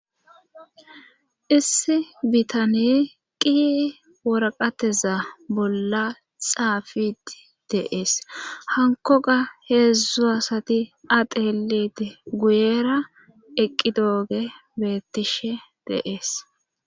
issi bitane qi woraqateza bolla xaafiti deees hanko ga heedzdzu asati ateeliti guyera eqqi dooge beettishe de'es